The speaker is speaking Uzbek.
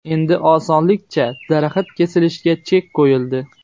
Endi osonlikcha daraxt kesilishiga chek qo‘yildi .